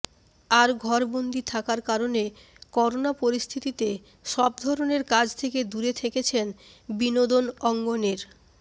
আর ঘরবন্দি থাকার কারণে করোনা পরিস্থিতিতে সব ধরনের কাজ থেকে দূরে থেকেছেন বিনোদন অঙ্গনের